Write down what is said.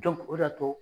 o de y'a to